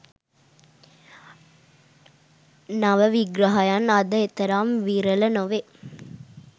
නව විග්‍රහයන් අද එතරම් විරල නොවේ.